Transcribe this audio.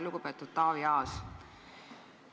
Lugupeetud Taavi Aas!